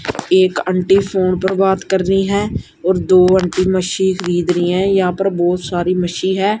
ਇਕ aunty phone ਪਰ ਬਾਤ ਕਰ ਰਹੀ ਹੈ ਔਰ ਦੋ ਆਂਟੀ ਮਛੀ ਖਰੀਦ ਰਹੀ ਹੈ ਜਹਾਂ ਪਰ ਬਹੁਤ ਸਾਰੀ ਮਛੀ ਹੈ।